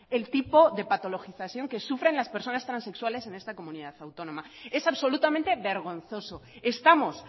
el tipo de patologización que sufren las personas transexuales en esta comunidad autónoma es absolutamente vergonzoso estamos